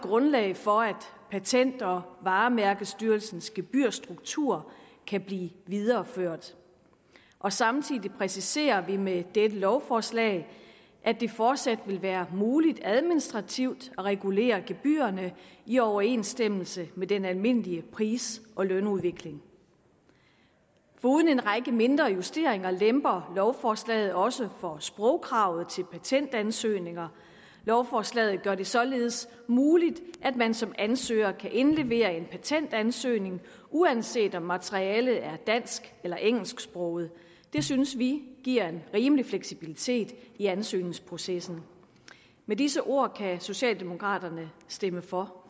grundlag for at patent og varemærkestyrelsens gebyrstruktur kan blive videreført og samtidig præciserer vi med dette lovforslag at det fortsat vil være muligt administrativt at regulere gebyrerne i overensstemmelse med den almindelige pris og lønudvikling foruden en række mindre justeringer lemper lovforslaget også for sprogkravet til patentansøgninger lovforslaget gør det således muligt at man som ansøger kan indlevere en patentansøgning uanset om materialet er dansk eller engelsksproget det synes vi giver en rimelig fleksibilitet i ansøgningsprocessen med disse ord kan socialdemokraterne stemme for